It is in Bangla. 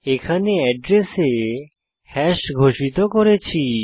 এখানে এড্রেসে হ্যাশ ঘোষিত করেছি